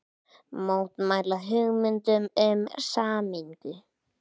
Mótmæla hugmyndum um sameiningu